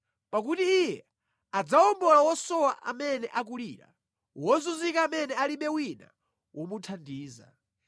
Pakuti iye adzawombola wosowa amene akulira, wozunzika amene alibe wina womuthandiza.